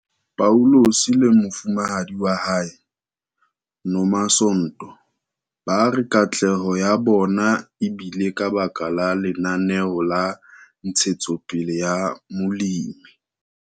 Paulus le mofumahadi wa hae, Nomasonto ba re katleho ya bona e bile ka baka la Lenaneo la Ntshetsopele ya Molemi.